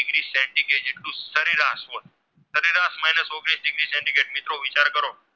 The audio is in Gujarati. મિત્રો વિચાર કરો